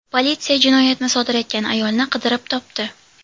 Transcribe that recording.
Politsiya jinoyatni sodir etgan ayolni qidirib topdi.